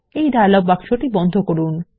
এই ডায়লগ বাক্সটি বন্ধ করুন